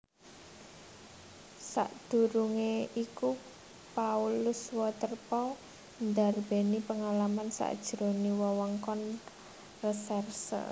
Sadurungé iku Paulus Waterpauw ndarbèni pangalaman sajroning wewengkon resèrse